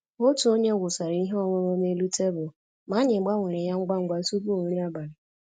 Otu onye wụsara ihe ọṅụṅụ n'elu tebụl, ma anyị gbanwere ya ngwa ngwa tupu nri abalị